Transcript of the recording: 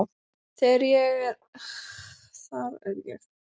Þar er ég ekkert að kássast upp á aðra.